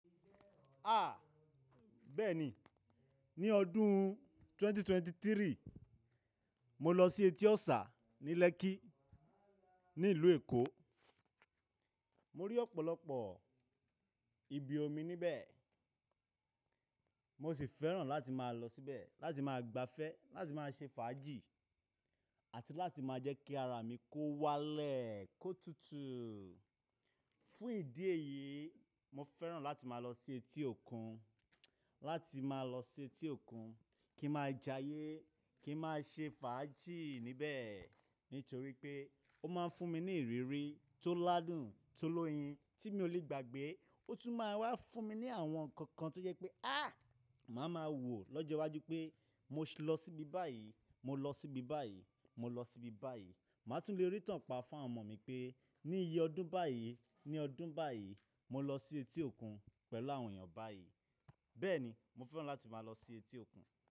A! Bẹ́ẹ̀ni, ní ọdún ẹgbẹ̀rún méjì ó lé ẹ́tàlélógún, mo lọ sí Eti Osà ní Lẹ́kki, ní ìlú Èkó. Mo rí ọ̀pọ̀lọpọ̀ ibi omi níbẹ̀, mo sì fẹ́ràn láti máa lọ síbẹ̀, láti máa gbafẹ́, láti máa ṣe fàájì àti láti máa jẹ́ kí ara mi kó walẹ̀, kó tutù. Fún ìdí èyí, mo fẹ́ràn láti máa lọ sí etí òkun, láti máa lọ sí etí òkun kí n máa jayé, kí n máa ṣe fàájì níbẹ̀ nítorí pé ó máa ń fún mi ní ìrírí tó ládùn, tó lóyin tí mi ò lè gbàgbé. Ó tún máa ń wá fún mi ní àwọn nnkan kan tó jẹ́ pé, áà, màá ma wò lọ́jọ́ iwájú pé mo sì lọ síbi báyìí, mo lọ síbi báyìí, mo lọ síbi báyìí. Màá tún lè rí itán pa fún àwọn ọmọ mi pé ní iye ọdún báyìí, ní ọdún báyìí, mo lọ sí etí òkun pẹ̀lú àwọn èèyàn báyìí. Bẹ́ẹ̀ni, mo fẹ́ràn láti máa lọ sí etí òkun.